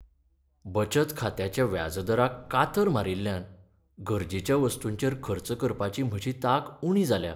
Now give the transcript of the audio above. बचत खात्याच्या व्याजदराक कातर मारिल्ल्यान गरजेच्या वस्तूंचेर खर्च करपाची म्हजी तांक उणी जाल्या.